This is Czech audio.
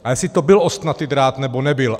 A jestli to byl ostnatý drát, nebo nebyl.